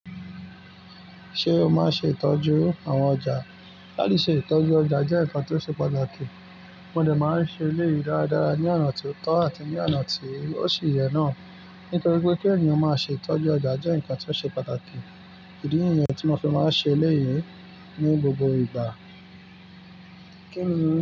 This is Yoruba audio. Ṣé o máa ń ṣe ìtọ́jú àwọn ọjà? Láti ṣe ìtọ́jú ọjà jẹ́ nǹkan tó ṣe pàtàkì. Mo dé máa se è le yí dáadáa ní ònà tó tó àti ní ònà tó o se ye náà nítorí pé kí ènìyàn máa ṣe ìtọ́jú ọjà jẹ́ nǹkan tó ṣe pàtàkì. E di nǹyan tí mo fẹ́ máa ṣe eléyìí ní gbogbo ìgbà. Kí ni.